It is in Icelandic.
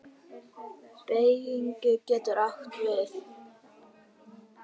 Beyging getur átt við